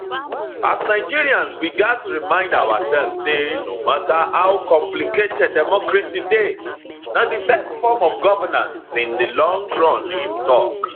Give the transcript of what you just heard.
as nigerians we gatz remind oursef say no mata how complicated democracy dey na di best form of governance in di long run im tok